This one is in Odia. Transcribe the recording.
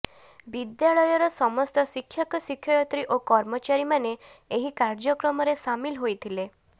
ବିଦ୍ୟାଳୟର ସମସ୍ତ ଶିକ୍ଷକ ଶିକ୍ଷୟତ୍ରୀ ଓ କର୍ମଚାରୀମାନେ ଏହି କାର୍ଯ୍ୟକ୍ରମରେ ସାମିଲ ହୋଇଥିଲେ